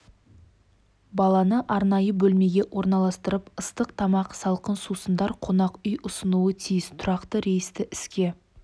баланы арнайы бөлмеге орналастырып ыстық тамақ салқын сусындар қонақ үй ұсынуы тиіс тұрақты рейсті іске